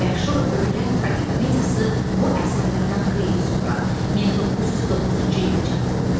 Məşhur ölülər tragikomediyası bu əsərlərdən xeyli sonra 1909-cu ildə çap olunmuşdu.